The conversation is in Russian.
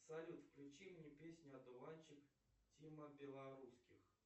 салют включи мне песню одуванчик тима белорусских